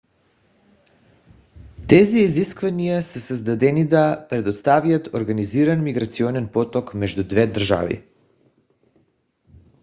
тези изисквания са създаденида предоставят организиран миграционен поток между двете държави